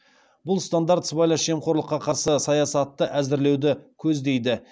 бұл стандарт сыбайлас жемқорлыққа қарсы саясатты әзірлеуді көздейді